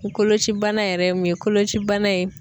kolocibana yɛrɛ ye mun ye kolocibana ye